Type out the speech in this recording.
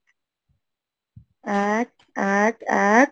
এক, এক, এক,